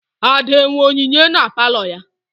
Ada enwe onyinye na Palọ ya?